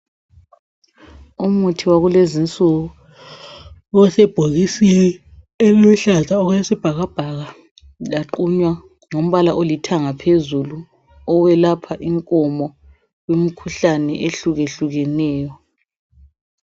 Umuthi wakulezinsuku osebhokisini eliluhlaza okwesibhakabhaka laqunywa ngombala olithanga phezulu owelapha inkomo imikhuhlane ehlukeneyo.